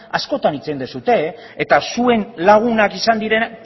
askotan hitz egin duzue eta zuen lagunak izan diren